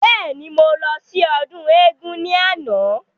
Bẹ́ẹ̀ni, mo lọ sí ọdún éégún ni àná.